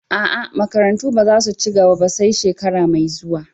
Aa, makarantu ba za su ci gaba ba sai shekara mai zuwa.